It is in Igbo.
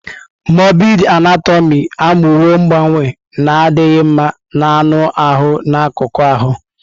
Mọrbịd Anatomị amụwo mgbanwe na-adịghị mma na anụ ahụ na akụkụ ahụ.